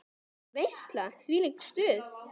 Þvílík veisla, þvílíkt stuð.